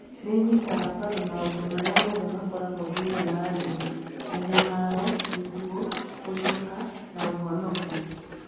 Nĩ ĩnyitaga mbaru maũndũ marĩa mothe makoragwo thĩinĩ wa ndini - mĩnyamaro, gĩkuũ, kũriũka, na ũhonokio.